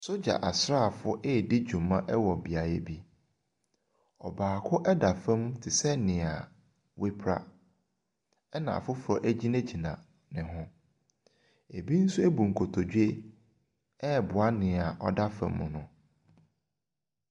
Sogya asrafoɔ eedi dwuma wɔ beaeɛ bi. Ɔbaako ɛda fam tesɛ nea wɛpra ɛna afoforɔ egyinagyina ne ho. Ebi ɛnso ɛbu nkotodwe ɛboa nea ɔda fam no.